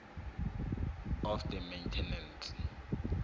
of the maintenance